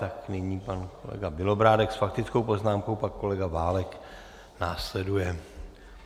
Tak nyní pan kolega Bělobrádek s faktickou poznámkou, pak kolega Válek následuje.